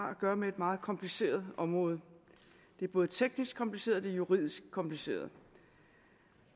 at gøre med et meget kompliceret område det er både teknisk kompliceret og juridisk kompliceret